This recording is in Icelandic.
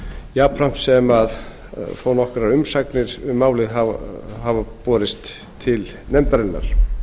jafnframt sem þó nokkrar umsagnir um málið hafa borist til nefndarinnar